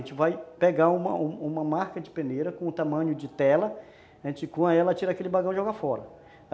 A gente vai pegar uma uma marca de peneira com o tamanho de tela, a gente cua ela, tira aquele bagão e joga fora.